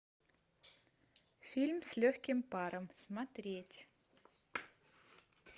фильм с легким паром смотреть